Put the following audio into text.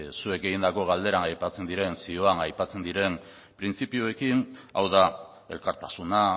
zuek egindako galderak aipatzen diren zioan aipatzen diren printzipioekin hau da elkartasuna